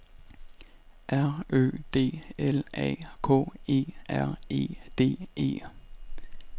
R Ø D L A K E R E D E